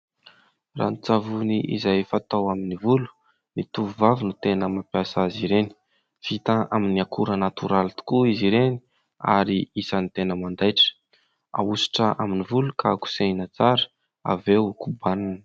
Ranon-tsavony izay fatao amin'ny volo. Ny tovovavy no tena mampiasa azy ireny; vita amin'ny akora natoraly tokoa izy ireny ary isan'ny tena mandaitra. Ahositra amin'ny volo ka kosehina tsara, avy eo kobanina.